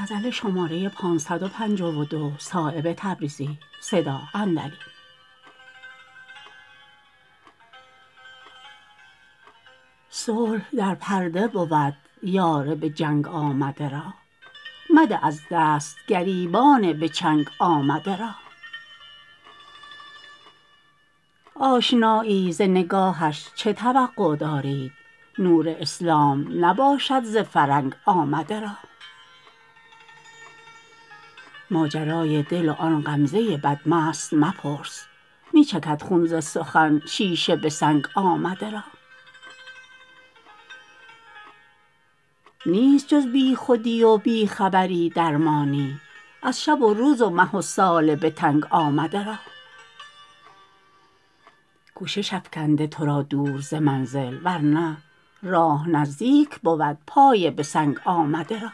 صلح در پرده بود یار به جنگ آمده را مده از دست گریبان به چنگ آمده را آشنایی ز نگاهش چه توقع دارید نور اسلام نباشد ز فرنگ آمده را ماجرای دل و آن غمزه بدمست مپرس می چکد خون ز سخن شیشه به سنگ آمده را نیست جز بی خودی و بی خبری درمانی از شب و روز و مه و سال به تنگ آمده را کوشش افکنده ترا دور ز منزل ورنه راه نزدیک بود پای به سنگ آمده را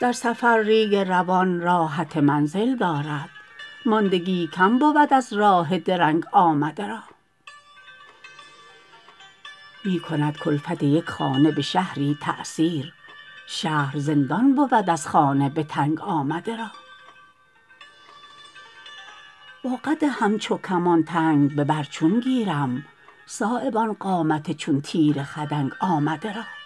در سفر ریگ روان راحت منزل دارد ماندگی کم بود از راه درنگ آمده را می کند کلفت یک خانه به شهری تأثیر شهر زندان بود از خانه به تنگ آمده را با قد همچو کمان تنگ به بر چون گیرم صایب آن قامت چون تیر خدنگ آمده را